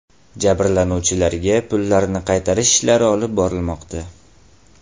Jabrlanuvchilarga pullarini qaytarish ishlari olib borilmoqda.